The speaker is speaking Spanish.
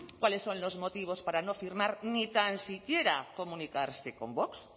cuáles son los motivos para no firmar ni tan siquiera comunicarse con vox